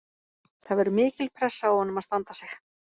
Það verður mikil pressa á honum að standa sig.